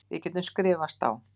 Við getum skrifast á.